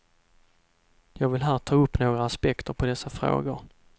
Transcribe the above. Jag vill här ta upp några aspekter på dessa frågor.